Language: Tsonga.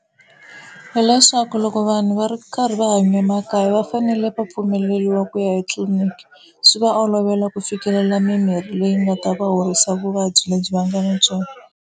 Hileswaku loko vanhu va ri karhi va hanya emakaya va fanele va pfumeleriwa ku ya etliliniki swi va olovela ku fikelela mimirhi leyi nga ta va horisa vuvabyi lebyi va nga na byona.